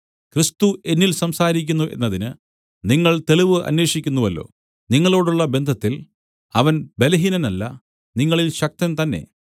ക്രിസ്തു എന്നിൽ സംസാരിക്കുന്നു എന്നതിന് നിങ്ങൾ തെളിവ് അന്വേഷിക്കുന്നുവല്ലോ നിങ്ങളോടുള്ള ബന്ധത്തിൽ അവൻ ബലഹീനനല്ല നിങ്ങളിൽ ശക്തൻ തന്നെ